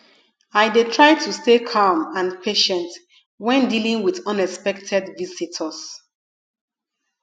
i dey try to stay calm and patient when dealing with unexpected visitors